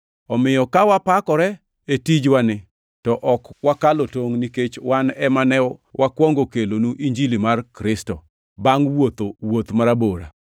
Omiyo ka wapakore e tijwani to ok wakalo tongʼ nikech wan ema ne wakwongo kelonu Injili mar Kristo bangʼ wuotho wuoth marabora.